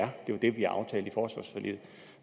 det var det vi aftalte i forsvarsforliget